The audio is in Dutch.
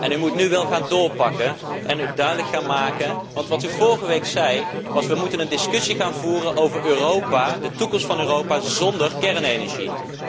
U moet nu wel gaan doorpakken en het duidelijk maken, want wat u vorige week zei was dat we een discussie moeten gaan voeren over Europa, de toekomst van Europa zonder kernenergie.